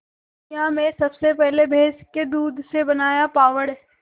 दुनिया में सबसे पहले भैंस के दूध से बनाया पावडर